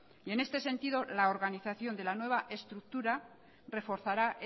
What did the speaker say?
en este sentido la organización de la nueva estructura reforzará